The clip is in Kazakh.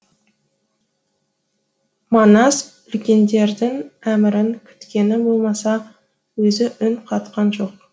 манас үлкендердің әмірін күткені болмаса өзі үн қатқан жоқ